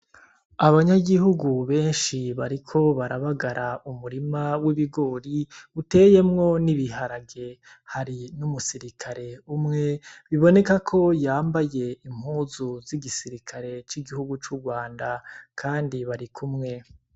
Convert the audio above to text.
Abanyagihugu benshi bariko barabagara umurima w'ibigori uteyemwo n'ibiharage hari n'umusirikale umwe biboneka ko yambaye impuzu z'igisirikare c'igihugu c'urwanda, kandi bari kumwe.